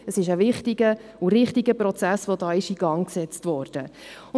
Es ist ein wichtiger und richtiger Prozess, der hier in Gang gesetzt worden ist.